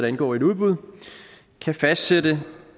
indgår i et udbud kan fastsætte